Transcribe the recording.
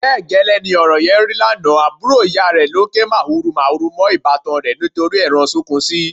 Bẹ́ẹ̀ gẹ́lẹ́ ni ọ̀rọ̀ yẹn rí lánàá, àbúrò ìyá rẹ̀ ló ń ké màhurumàhuru mọ́ ìbátan rẹ̀ nítorí ẹran sunkúnsí.